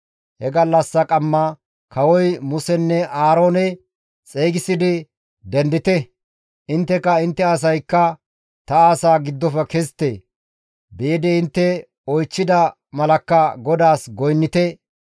He gallassa omars kawozi Musenne Aaroone xeygisidi, «Dendite! Intteka intte asaykka ta asaa giddofe kezite! Biidi intte oychchida malakka GODAAS goynnite!